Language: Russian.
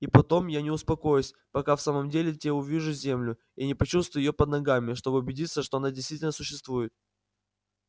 и потом я не успокоюсь пока в самом деле те увижу землю и не почувствую её под ногами чтобы убедиться что она действительно существует